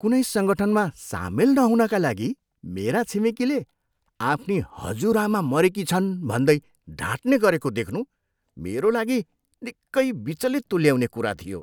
कुनै सङ्गठनमा सामेल नहुनाका लागि मेरा छिमेकीले आफ्नी हजुरआमा मरेकी छन् भन्दै ढाट्ने गरेको देख्नु मेरा लागि निकै विचलित तुल्याउने कुरा थियो।